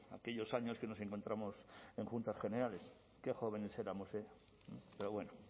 aquellos años que nos encontramos en juntas generales que jóvenes éramos eh pero bueno